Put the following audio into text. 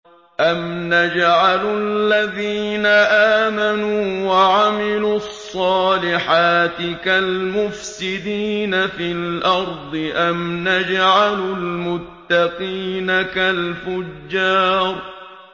أَمْ نَجْعَلُ الَّذِينَ آمَنُوا وَعَمِلُوا الصَّالِحَاتِ كَالْمُفْسِدِينَ فِي الْأَرْضِ أَمْ نَجْعَلُ الْمُتَّقِينَ كَالْفُجَّارِ